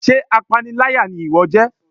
sé apáníláyá ni iwọ jẹ?